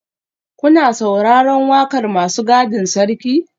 Kuna sauraron wakar masu gadin sarki?